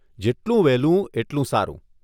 જેટલું વહેલું, એટલું સારું.